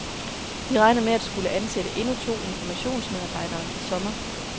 De regner med at skulle ansætte endnu to informationsmedarbejdere til sommer.